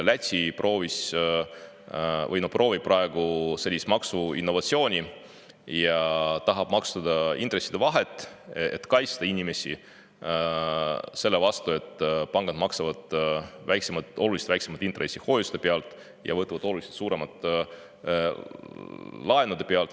Läti proovis või proovib praegu sellist maksuinnovatsiooni ja tahab maksustada intresside vahet, et kaitsta inimesi selle eest, et pangad maksavad väiksemat, oluliselt väiksemat intressi hoiuste pealt ja võtavad oluliselt suuremat laenude pealt.